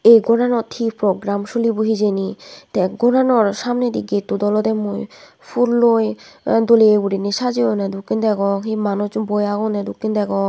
ei goranot hi prokgram sulibo hijeni tey gorano samnedi gettot olodey mui pulloi doley gurinei sajeyonne dokken degong hi manuj boi agonney dokken degong.